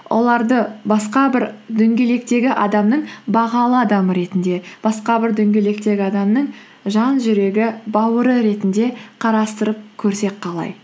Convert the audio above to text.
оларды басқа бір дөңгелектегі адамның бағалы адам ретінде басқа бір дөңгелектегі адамның жан жүрегі бауыры ретінде қарастырып көрсек қалай